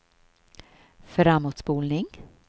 framåtspolning